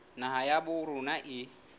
naha ya habo rona e